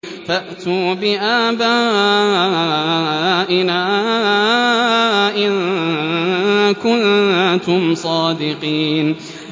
فَأْتُوا بِآبَائِنَا إِن كُنتُمْ صَادِقِينَ